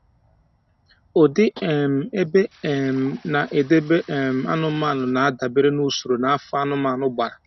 Ụdị um ebe a um na-edebe um anụmanụ na-adabere n'usoro na afọ anụmanụ gbara